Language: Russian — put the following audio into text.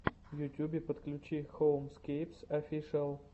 в ютюбе подключи хоумскейпс офишиал